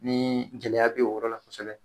Ni gɛlɛya be o yɔrɔ la kosɛbɛ